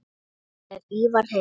Er Ívar heima?